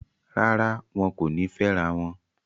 Rárá, wọn kò ní fẹ́rawọn